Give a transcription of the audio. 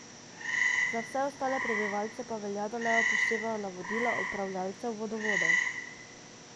Za vse ostale prebivalce pa velja, da naj upoštevajo navodila upravljavcev vodovodov.